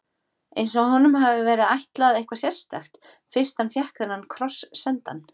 Eins og honum hafi verið ætlað eitthvað sérstakt, fyrst hann fékk þennan kross sendan.